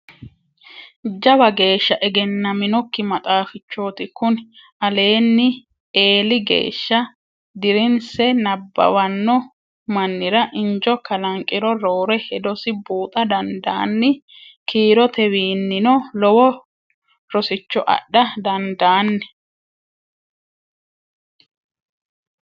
Jawa geeshsha egenaminokki maaxafichoti kuni alini eelli geeshsha dirinse nabbawano manira injo kalanqiro roore hedosi buuxa dandiinanni kiirotewiinino lowo rosicho adha dandiinanni.